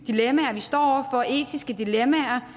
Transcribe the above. etiske dilemmaer